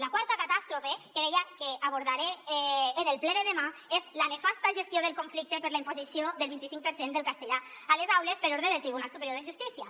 la quarta catàstrofe que deia que abordaré en el ple de demà és la nefasta gestió del conflicte per la imposició del vint i cinc per cent del castellà a les aules per ordre del tribunal superior de justícia